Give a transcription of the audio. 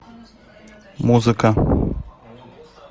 музыка